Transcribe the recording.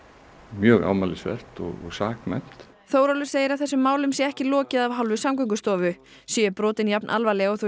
mjög ámælisvert og saknæmt Þórólfur segir að þessum málum sé ekki lokið af hálfu Samgöngustofu séu brotin jafnalvarleg og þau